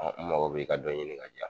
Mango bi ka dɔ ɲini ka diyan